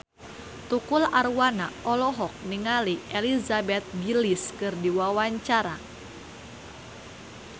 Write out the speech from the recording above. Tukul Arwana olohok ningali Elizabeth Gillies keur diwawancara